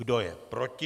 Kdo je proti?